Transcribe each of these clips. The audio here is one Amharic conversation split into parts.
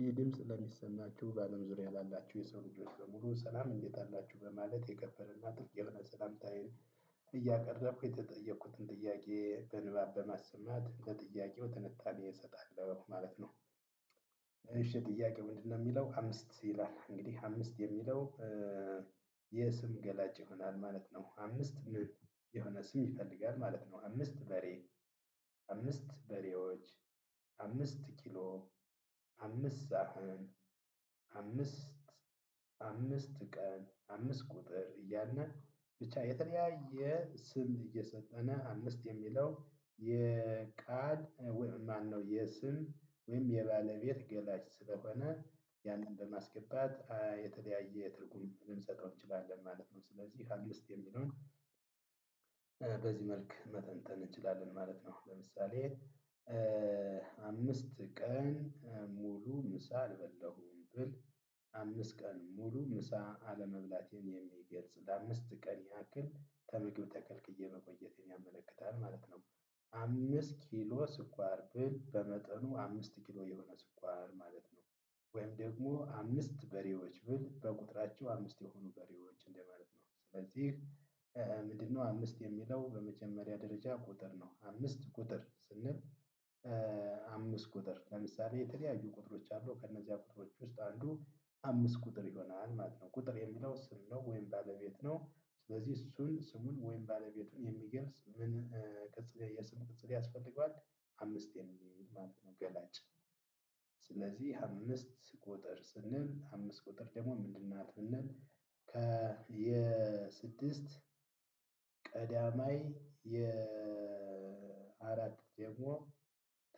ይህ ድምጽ ለሚሰማችሁ በአለም ዙሪያ ላላችሁ የሰው ልጆች በሙሉ ሰላም እንዴት አላችህ በማለት የከበረ እና ጥልቅ የሆነ ሰላምታዬን እያቀረብኩ የተጠየኩትን ጥያቄ በንባብ በማሰማት ለጥያቄው ትንታኔ እሰጣለሁ ማለት ነው። እሺ ጥያቄው ምንድነው? እሚለው አምስት ይላል እንግዲህ አምስት የሚለው የሰም ገላጭ ይሆናል ማለት ነው። አምስት ምን የሆነ ስም ይፈልጋል ማለት ነው። አምስት በሬ። አምስት በሬዎች። አምስት ኪሎ። አምስት ሳህን። አምስት አምሰት ቀን አምስት ቁጥር እያልነ ብቻ የተለያዬ ስም እየሰጠነ አምስት እሚለው። የቃል ወይም ማነው የስም ወይም የባለቤት ገላጭ ስለሆነ ያንን በማስገባት የተለያዬ ትርጉም ልንሰጠው እንችላለን ማለት ነው። ስለዚህ ውስጥ የሚለውን በዚህ መልክ መተንተን እንችላለን ማለት ነው። ለምሳሌ አምስት ቀን ሙሉ ምሳ አልበላሁም ብል አምስት ቀን ሙሉ ምሳ አለመብላቴን የሚገልጽ ለአምስት ቀን ያክል ተምግብ ተከልክዬ መቆየቴን ያመለክታል ማለት ነው። አምስት ኪሎ ስኳር ብል በመጠኑ አምስት ኪሎ የሆነ ስኳር ማለት ነው። ወይም ደግሞ አምስት በሬዎች ብል በቁጥራቸው አምስት የሆኑ በሬዎች እንደማለት ነው ስለዚህ። ምንድነው አምስት የሚለው በመጀመሪያ ደረጃ ቁጥር ነው። አምስት ቁጥር ስንል አምስት ቁጥር ለምሳሌ የተለያዩ ቁጥሮች አሉ ከነዚያ ቁጥሮች ውስጥ አንዱ አምስት ቁጥር ይሆናል ማለት ነው። ቁጥር የሚለው ስም ነው ወይም ባለቤት ነው ስለዚህ እሱን ስሙን ወይም ባለቤቱን የሚገልጽ ምን ቅጽል የስም ቅጽል ያስፈልገዋል። አምስት የሚል ማለት ነው ገላጫ። ስለዚህ አምስት ቁጥር ስንል አምስት ቁጥር ደሞ ምድን ናት ብንል ከ የ ስድስት ቀዳማይ የ አራት ደሞ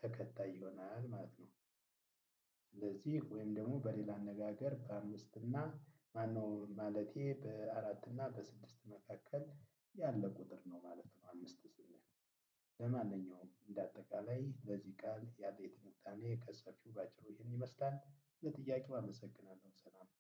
ተከታይ ይሆናል ማለት ነው። ወይም ደግሞ በሌላ አነጋገር በአምስት እና ማነው ማለቴ በአራት እና በስድስት መካከል ያለው ቁጥር ነው ማለት ነው። አምስት ስንል ለማንኛውም እንደ አጠቃላይ ለዚህ ቃል ያለኝ ትንታኔ ከሰፊው ባጭሩ ይህን ይመስላል። ለጥያቄ አመሰግናለሁ ሰላም።